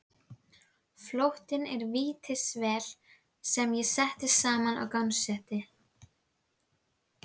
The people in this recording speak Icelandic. Flóttinn er vítisvél sem ég setti saman og gangsetti.